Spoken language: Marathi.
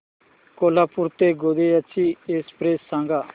कोल्हापूर ते गोंदिया ची एक्स्प्रेस सांगा